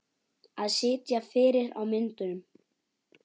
Að sitja fyrir á myndum?